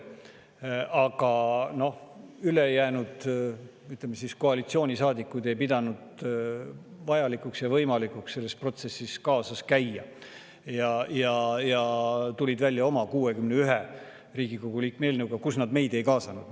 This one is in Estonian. Aga noh, ülejäänud koalitsioonisaadikud ei pidanud vajalikuks ja võimalikuks selles protsessis kaasas käia ja tulid välja oma, 61 Riigikogu liikme eelnõuga, kuhu nad meid ei kaasanud.